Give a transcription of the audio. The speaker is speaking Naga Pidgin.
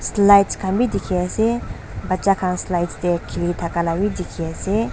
slides kan b diki ase bacha kan slides de kili daka la bi diki ase.